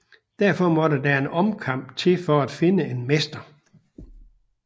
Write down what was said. Derfor måtte der en omkamp til for at finde en mester